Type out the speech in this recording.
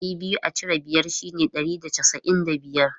Ɗari biyu a cire biyar shine ɗari da casa'in da biyar.